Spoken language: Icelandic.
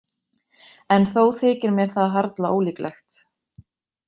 En þó þykir mér það harla ólíklegt.